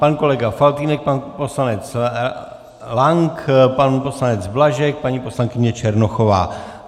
Pan kolega Faltýnek, pan poslanec Lank, pan poslanec Blažek, paní poslankyně Černochová.